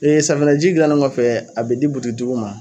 ye safunɛji gilannen kɔfɛ a bɛ di bututigitigiw ma.